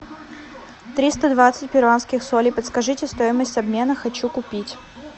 триста двадцать перуанских солей подскажите стоимость обмена хочу купить